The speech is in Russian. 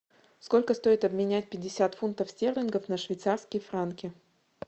сколько стоит обменять пятьдесят фунтов стерлингов на швейцарские франки